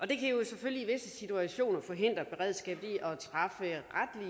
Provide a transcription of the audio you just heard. det kan jo selvfølgelig i visse situationer forhindre beredskabet